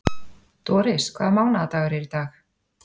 Doris, hvaða mánaðardagur er í dag?